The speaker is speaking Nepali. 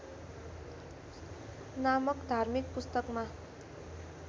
नामक धार्मिक पुस्तकमा